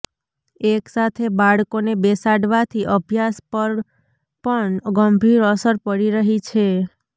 એક સાથે બાળકોને બેસાડવાથી અભ્યાસ પર પણ ગંભીર અસર પડી રહી છે